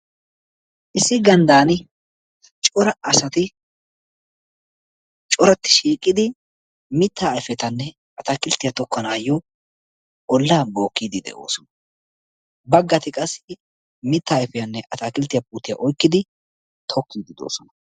Issi ganddaani cora asati coratti shiiqidi mittaa ayfetane atakilttiyaa tokkanaayoo ollaa bookkiiddi doosona. Baggaati qassi mittaa ayfiyaanne atakilttiyaa puutiyaa oyikkidi de'oosona.